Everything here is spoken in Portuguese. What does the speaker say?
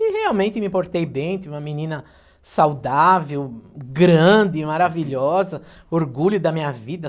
E realmente me portei bem, tive uma menina saudável, grande, maravilhosa, orgulho da minha vida.